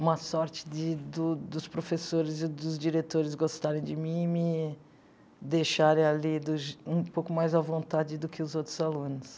uma sorte de do dos professores e dos diretores gostarem de mim e me deixarem ali do je um pouco mais à vontade do que os outros alunos.